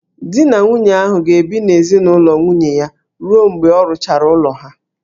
Di na nwunye ahụ ga-ebi n'ezinaụlọ nwunye ya ruo mgbe a rụchara ụlọ ha